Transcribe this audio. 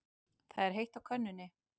Það er heitt á könnunni.